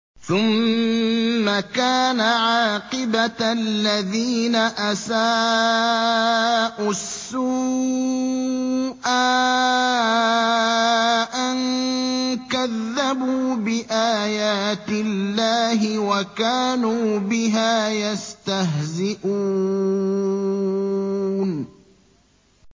ثُمَّ كَانَ عَاقِبَةَ الَّذِينَ أَسَاءُوا السُّوأَىٰ أَن كَذَّبُوا بِآيَاتِ اللَّهِ وَكَانُوا بِهَا يَسْتَهْزِئُونَ